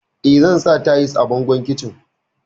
Eh, zan sa tayis a bangon kicin.